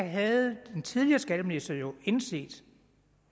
havde den tidligere skatteminister jo indset